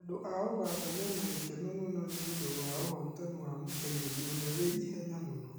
Andũ a ũganda mena gĩkeno mũno nĩũndũ wa ũhotani wa mũtengeri ũrĩa wĩ ihenya mũno